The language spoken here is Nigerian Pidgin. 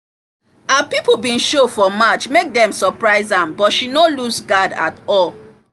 her people been show for match make dem surprise am but she no loose guard at all